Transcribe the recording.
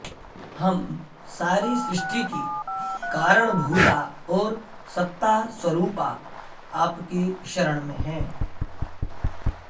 हम सारी सृष्टिकी कारणभूता और सत्तास्वरूपा आपकी शरण में हैं